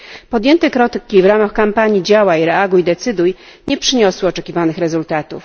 Podjęte kroki w ramach kampanii Działań, reaguj, decyduj nie przyniosły oczekiwanych rezultatów.